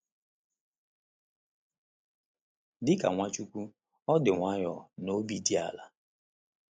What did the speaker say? Dị ka Nwachukwu, ọ dị nwayọọ na obi dị ala.